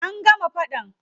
An gama faɗan.